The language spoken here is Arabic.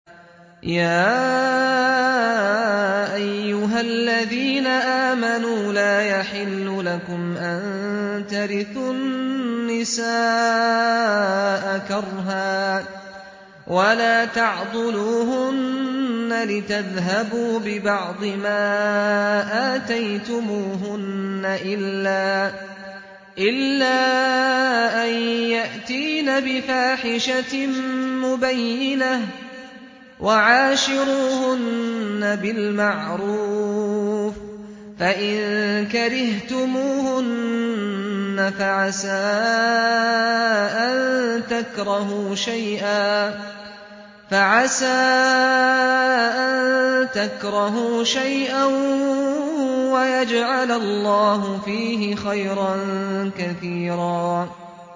يَا أَيُّهَا الَّذِينَ آمَنُوا لَا يَحِلُّ لَكُمْ أَن تَرِثُوا النِّسَاءَ كَرْهًا ۖ وَلَا تَعْضُلُوهُنَّ لِتَذْهَبُوا بِبَعْضِ مَا آتَيْتُمُوهُنَّ إِلَّا أَن يَأْتِينَ بِفَاحِشَةٍ مُّبَيِّنَةٍ ۚ وَعَاشِرُوهُنَّ بِالْمَعْرُوفِ ۚ فَإِن كَرِهْتُمُوهُنَّ فَعَسَىٰ أَن تَكْرَهُوا شَيْئًا وَيَجْعَلَ اللَّهُ فِيهِ خَيْرًا كَثِيرًا